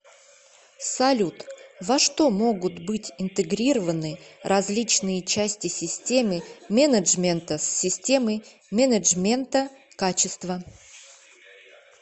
салют во что могут быть интегрированы различные части системы менеджмента с системой менеджмента качества